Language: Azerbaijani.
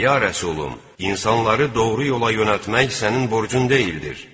Ya Rəsulüm, insanları doğru yola yönəltmək sənin borcun deyil.